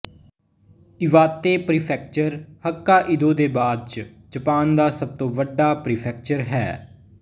Iwate prefecture Hokkaido ਦੇ ਬਾਅਦ ਚ ਜਪਾਨ ਦਾ ਸਭ ਤੋਂ ਵੱਡਾ ਪ੍ਰੀਫੇਕਚਰ ਹੈ